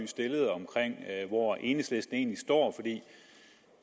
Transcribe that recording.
stillede om hvor enhedslisten egentlig står